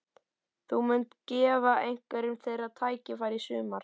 Þú munt gefa einhverjum þeirra tækifæri í sumar?